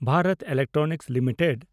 Bharat electronics limited